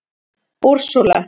Úrsúla